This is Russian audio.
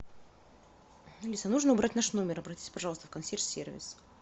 алиса нужно убрать наш номер обратись пожалуйста в консьерж сервис